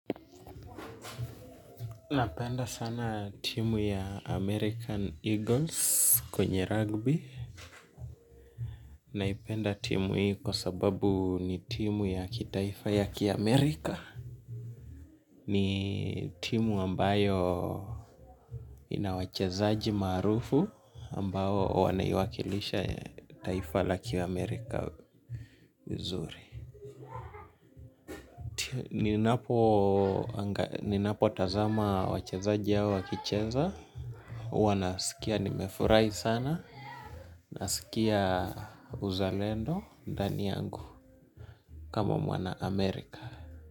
Napenda sana timu ya american eagles kwenye rugby. Naipenda timu hii kwa sababu ni timu ya kitaifa ya kiamerika. Ni timu ambayo inawachezaji marufu ambawo wanaiwakilisha taifa la kiamerika uzuri. Ninapo tazama wachezaji hao wakicheza huwa nasikia nimefurahi sana nasikia uzalendo ndani yangu kama mwana Amerika.